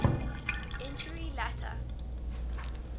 entury later